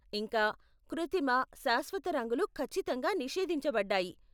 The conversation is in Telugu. ఇంకా, కృత్రిమ, శాశ్వత రంగులు ఖచ్చితంగా నిషేధించబడ్డాయి!